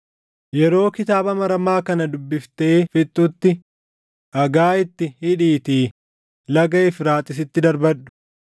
Yeroo kitaaba maramaa kana dubbiftee fixxutti dhagaa itti hidhiitii Laga Efraaxiisitti darbadhu.